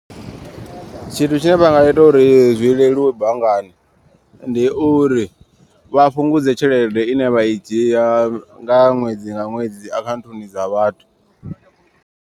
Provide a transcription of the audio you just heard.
Tshine vha nga ita uri zwi leluwe banngani ndi uri. Vha fhungudze tshelede ine vha i dzhia nga ṅwedzi nga ṅwedzi akhaunthuni dza vhathu.